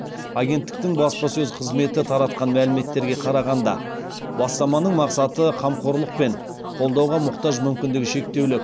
агенттіктің баспасөз қызметі таратқан мәліметтерге қарағанда бастаманың мақсаты қамқорлық пен қолдауға мұқтаж мүмкіндігі шектеулі